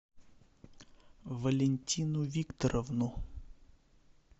валентину викторовну